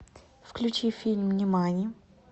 включи фильм нимани